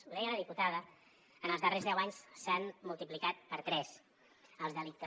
ho deia la diputada en els darrers deu anys s’han multiplicat per tres els delictes